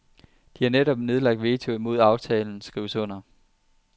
De har netop nedlagt veto imod at aftalen skrives under.